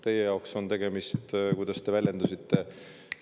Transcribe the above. Teie jaoks on tegemist – kuidas te väljendusitegi?